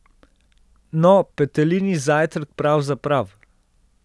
No, petelinji zajtrk pravzaprav.